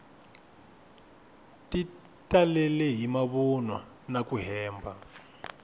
ti talele hi mavunwa naku hemba